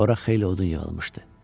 Ora xeyli odun yığılmışdı.